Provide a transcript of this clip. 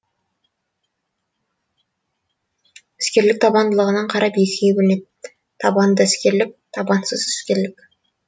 іскерлік табандылығына қарап екіге бөлінеді табанды іскерлік табансыз іскерлік